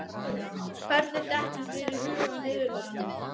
Hvernig dettur þér í hug að niðurlægja mig svona?